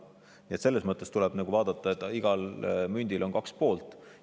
Nii et selles mõttes tuleb arvestada, et igal mündil on kaks külge.